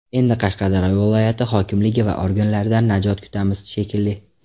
Endi Qashqadaryo viloyat hokimligi va organdagilardan najot kutamiz, shekilli.